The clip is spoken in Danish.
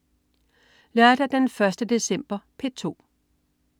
Lørdag den 1. december - P2: